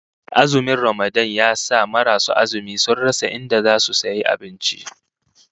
Azumin Ramadan ya sa marasu azumi sun rasa inda zasu sayi abinci